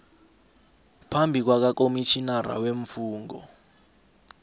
phambi kwakakomitjhinara weemfungo